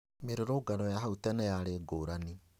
Mĩrũrũngano ya hau tene yarĩ ngũrani